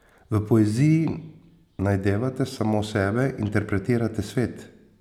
V poeziji najdevate samo sebe, interpretirate svet.